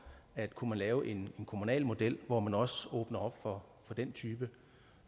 at kunne man lave en kommunal model hvor man også åbner op for den type